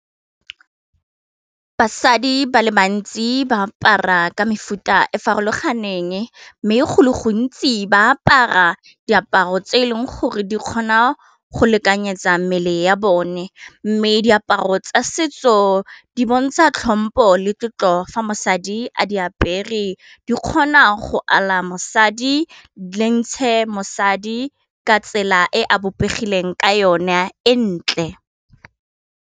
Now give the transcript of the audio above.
Basadi ba le bantsi ba apara ka mefuta e farologaneng mme go le gontsi ba apara diaparo tse e leng gore di kgona go lekanyetsa mmele ya bone, mme diaparo tsa setso di bontsha tlhompo le tlotlo fa mosadi a di apere di kgona go ala mosadi le ntshe mosadi ka tsela e a bopegileng ka yone e ntle.